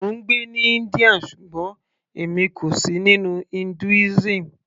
mò ń gbé ní India ṣùgbọ́n èmi kò sì nínú Hinduism